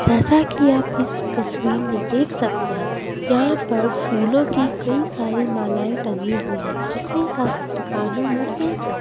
जैसा कि आप इस तस्वीर में देख सकते हैं यहां पर फूलों की कई सारी मालाएं टंगी हुई है जिसे आप कानों में पीन सकते--